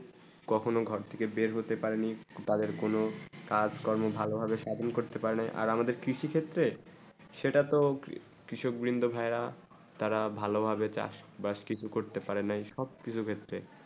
কখনো ঘর থেকে বের হতে পারি তাদের কোনো কাজ মকরম ভালো ভাবে সাজন করতে পারে আর আমাদের কৃষি ক্ষেত্রে সেটা তো কৃষক বিন্দু ভাই রা তারা ভালো ভাবে চাষ বাস কিছু করতে পারে এই সব কৃষি ক্ষেত্রে